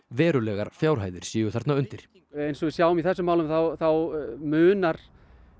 verulegar fjárhæðir séu þarna undir eins og við sjáum í þessu málum þá þá munar